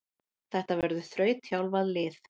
Þetta verður þrautþjálfað lið.